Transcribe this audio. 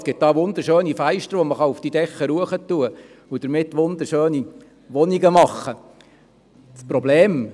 Es gibt wunderschöne Fenster, die man oben auf den Dächern platzieren und damit wunderschöne Wohnungen machen kann.